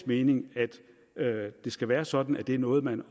mening at det skal være sådan at det er noget man